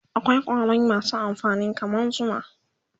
akwai ƙwari masu amfani kaman zuma